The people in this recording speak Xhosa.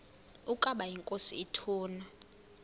ukaba inkosi ituna